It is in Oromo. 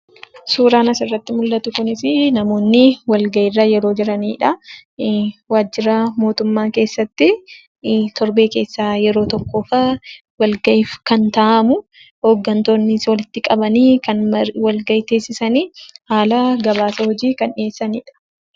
Suuraan asirratti mul'atu kunisii namoonni walgahiirra yeroo jiranidha. Waajjira mootummaa keesaatti torbee keessaa yeroo tokkoof walgahii kan taa'amuu, hooggantoonnis walitti qabanii kan walgahii teessisanii haala gabaasa hojii kan dhiyeessanidha.